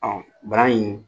Ɔn bana in